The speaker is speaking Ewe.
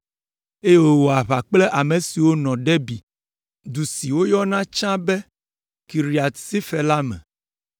eye wòwɔ aʋa kple ame siwo nɔ Debir, du si woyɔna tsã be Kiriat Sefer la me.